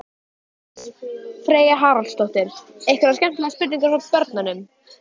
Freyja Haraldsdóttir: Einhverjar skemmtilegar spurningar frá börnum?